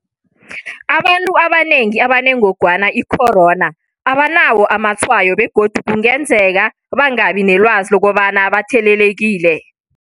Abantu abanengi abanengogwana i-corona abanawo amatshwayo begodu kungenzeka bangabi nelwazi lokobana bathelelekile.